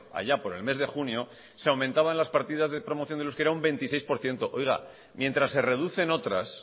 allá por el mes de junio se aumentaban las partidas de promoción del euskera un veintiséis por ciento mientras se reducen otras